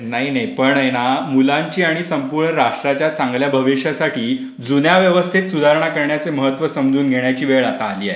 नाही, नाही पण आहे ना मुलांसाठी आणि संपूर्ण राष्ट्राच्या भविष्यासाठी जुन्या व्यवस्थेत सुधारणा करण्याचे महत्त्व समजून घेण्याची वेळ आता आली आहे.